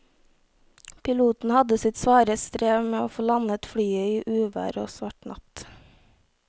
Piloten hadde sitt svare strev med å få landet flyet i uvær og svart natt.